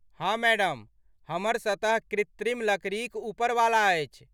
हाँ मैडम, हमर सतह कृत्रिम लकड़ी क ऊपर वाला अछि।